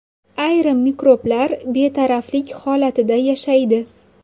Ayrim mikroblar betaraflik holatida yashaydi.